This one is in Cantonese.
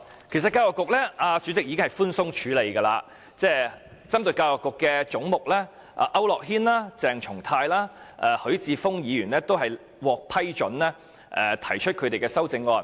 其實主席已經寬鬆處理，批准區諾軒議員、鄭松泰議員及許智峯議員就教育局這個總目提出修正案。